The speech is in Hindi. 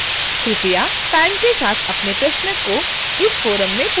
कृपया timed के साथ अपने प्रश्न को इस forum में post करें